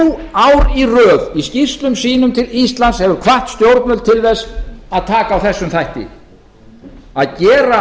ár í röð í skýrslum sínum til íslands hefur hvatt stjórnvöld til þess að taka á þessum þætti að gera